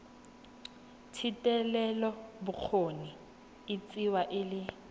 thetelelobokgoni e tsewa e le